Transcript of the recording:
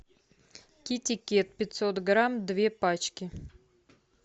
китикет пятьсот грамм две пачки